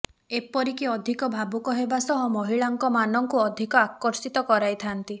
ଏପରିକି ଅଧିକ ଭାବୁକ ହେବା ସହ ମହିଳାଙ୍କ ମାନଙ୍କୁ ଅଧିକ ଆର୍କଷିତ କରାଇଥାନ୍ତି